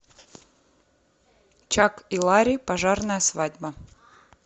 чак и ларри пожарная свадьба